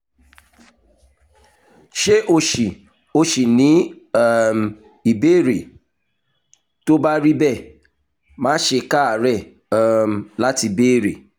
ṣé o ṣì o ṣì ní um ìbéèrè? tó bá rí bẹ́ẹ̀ má ṣe káàárẹ̀ um láti béèrè